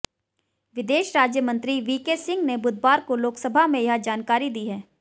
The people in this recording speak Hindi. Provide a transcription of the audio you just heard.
विदेश राज्य मंत्री वीके सिंह ने बुधवार को लोकसभा में यह जानकारी दी है